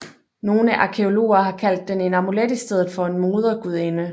Nogle arkæologer har kaldt den en amulet i stedet for en Modergudinde